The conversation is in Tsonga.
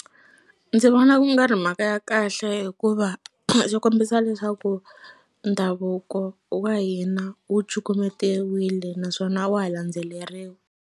Ndzi vona ku nga ri mhaka ya kahle hikuva swi kombisa leswaku ndhavuko wa hina wu cukumetiwile naswona a wa ha landzeleriwi.